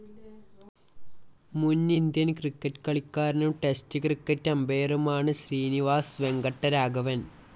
മുൻ Indian cricket കളിക്കാരനും test cricket അമ്പയറുമാണ് ശ്രീനിവാസ് വെങ്കട്ടരാഘവൻ.